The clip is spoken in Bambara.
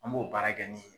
An b'o baara kɛ ni